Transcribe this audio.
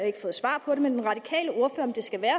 ikke fået svar på det om det skal være